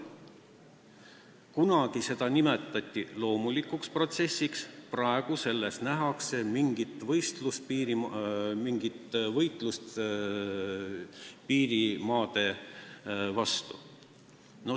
Kunagi nimetati seda loomulikuks protsessiks, praegu nähakse poodide sulgemise taga mingit võitlust piirimaade vastu.